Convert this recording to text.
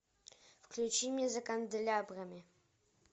включи мне за канделябрами